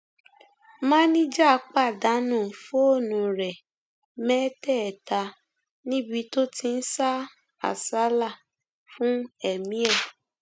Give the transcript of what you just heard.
máníjà pàdánù fóònù rẹ mẹtẹẹta níbi tó ti ń sá àsálà fún ẹmí ẹ